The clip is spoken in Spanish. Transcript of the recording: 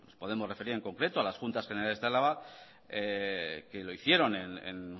podemos referir en concreto a las juntas generales de álava que lo hicieron en